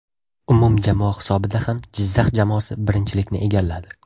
Umumjamoa hisobida ham Jizzax jamoasi birinchilikni egalladi.